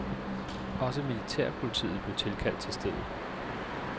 Også militærpolitiet blev tilkaldt til stedet.